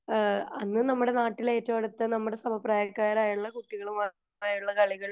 അന്ന് നമ്മുടെ നാട്ടിൽ ഏറ്റവും അടുത്ത നമ്മുടെ സമപ്രായക്കാർ ആയിട്ടുള്ള കുട്ടികൾ മാത്രമായുള്ള കളികൾ